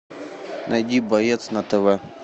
найди боец на тв